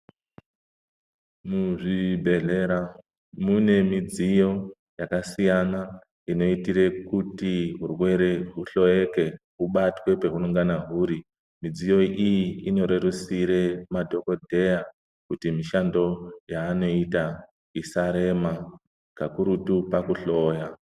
Muzvibhedhlera munemidziyo yakasiyana inoitire kuti hurwere huhloyeke, hubatike peunongana uri. Midziyo iyi inorerusire madhogodheya kuti mishando yeanoita isarema kakurutu pakuhloya.